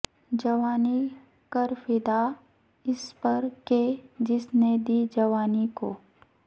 جوانی کر فدا اس پر کہ جس نے دی جوانی کو